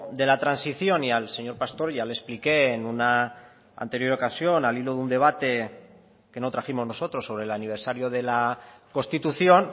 de la transición y al señor pastor ya le explique en una anterior ocasión al hilo de un debate que no trajimos nosotros sobre el aniversario de la constitución